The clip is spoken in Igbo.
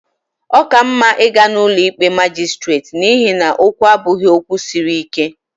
Ọ ka mma ịga ụlọ ikpe majistreti n'ihi na okwu a abụghị okwu siri ike